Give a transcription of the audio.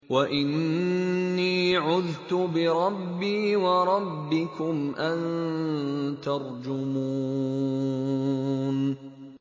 وَإِنِّي عُذْتُ بِرَبِّي وَرَبِّكُمْ أَن تَرْجُمُونِ